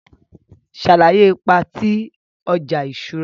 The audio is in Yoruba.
Sàlàyé ipa ti ọja iṣura.